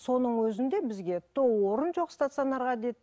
соның өзінде бізге то орын жоқ стационарға деді